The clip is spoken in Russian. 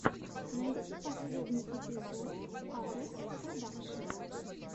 найти последний эпизод арэс продакшн